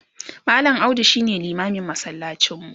mallam audu shine limamin masallacin mu